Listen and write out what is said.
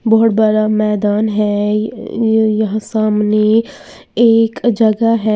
बहोत बड़ा मैदान है य यहां सामने एक जगह है।